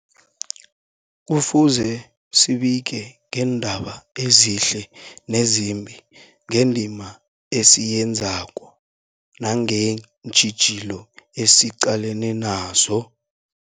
Kufuze zibike ngeendaba ezihle nezimbi, ngendima esiyenzako nangeentjhijilo esiqalene nazo.